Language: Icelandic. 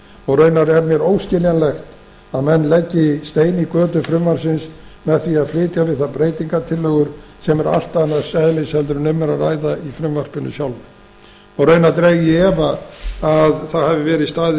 og raunar er mér óskiljanlegt að menn leggi stein í götu frumvarpsins með því að flytja við það breytingartillögur sem eru allt annars eðlis en um er að ræða í frumvarpinu sjálfu raunar dreg ég í efa að það hafi verið staðið